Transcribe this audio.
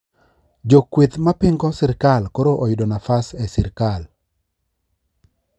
Jo kweth mapingo sirkal koro oyudo nafas e sirkal